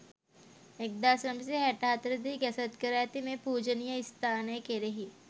1964 දී ගැසට් කර ඇති මේ පූජනීය ස්ථානය කෙරෙහි